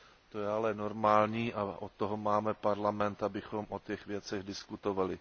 To je ale normální a od toho máme Parlament, abychom o těch věcech diskutovali.